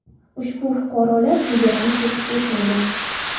Ushbu fuqarolar chegarani kesib o‘tmagan.